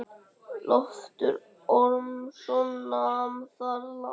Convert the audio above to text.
Loftur Ormsson nam þar land.